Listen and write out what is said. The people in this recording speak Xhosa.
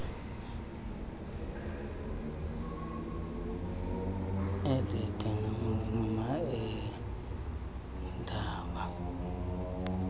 elide ngamajelo eendaba